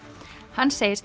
hann segist